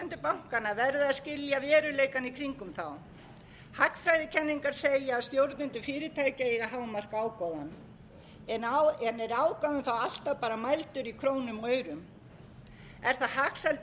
annarra en stjórnendur bankanna verða að skilja veruleikann í kringum þá hagfræðikenningar segja að stjórnendur fyrirtækja eigi að hámarka ágóðann en er ágóðinn þá alltaf bara mældur í krónum og aurum er það hagsæld